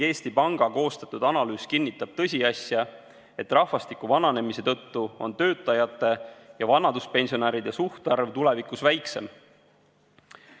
Eesti Panga koostatud analüüs kinnitab tõsiasja, et rahvastiku vananemise tõttu on töötajate ja vanaduspensionäride suhtarv tulevikus väiksem.